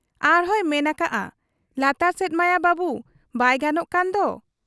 ᱟᱨᱦᱚᱸᱭ ᱢᱮᱱ ᱟᱠᱟᱜ ᱟ 'ᱞᱟᱛᱟᱨ ᱥᱮᱫ ᱢᱟᱭᱟ ᱵᱟᱹᱵᱩ ᱵᱟᱭ ᱜᱟᱱᱚᱜ ᱠᱟᱱ ᱫᱚ ?'